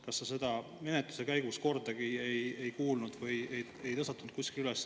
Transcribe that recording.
Kas sa seda menetluse käigus kordagi ei kuulnud, kas seda nagu ei tõstatatud kuskil?